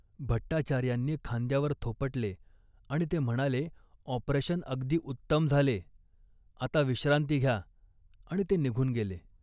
भट्टाचार्यांनी खांद्यावर थोपटले आणि ते म्हणाले ऑपरेशन अगदी उत्तम झाले. आता विश्रांती घ्या आणि ते निघून गेले